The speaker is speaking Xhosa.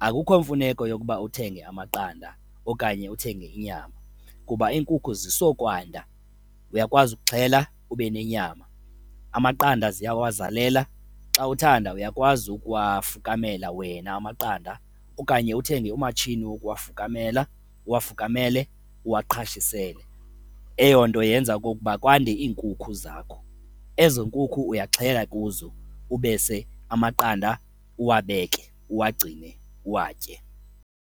Akukho mfuneko yokuba uthenge amaqanda okanye uthenge inyama kuba iinkukhu zisokwanda uyakwazi ukuxhela ube nenyama. Amaqanda ziyawazalela, xa uthanda uyakwazi ukuwafukamela wena amaqanda okanye uthenge umatshini wokuwafukamela, uwafukamele, uwaqhashisele. Eyo nto yenza okokuba kwande iinkukhu zakho ezo nkukhu uyaxhela kuzo ubese amaqanda uwabeke, uwagcine, uwatye.